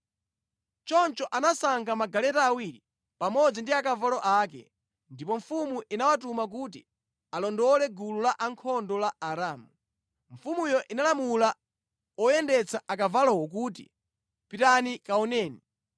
Choncho anasankha magaleta awiri pamodzi ndi akavalo ake, ndipo mfumu inawatuma kuti alondole gulu lankhondo la Aaramu. Mfumuyo inalamula oyendetsa akavalowo kuti, “Pitani kaoneni.”